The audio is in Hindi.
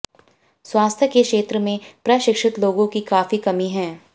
स्वास्थ्य के क्षेत्र में प्रशिक्षित लोगों की काफी कमी है